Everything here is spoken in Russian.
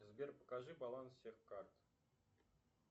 сбер покажи баланс всех карт